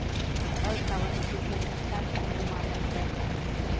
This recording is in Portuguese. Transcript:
Agora eu estava no supermercado, chegou uma mãe para mim.